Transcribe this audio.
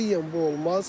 Qətiyyən bu olmaz.